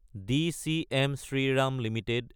DCM Shriram Ltd